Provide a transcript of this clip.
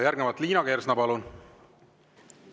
Järgmisena, Liina Kersna, palun!